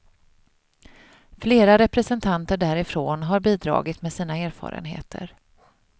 Flera representanter därifrån har bidragit med sina erfarenheter.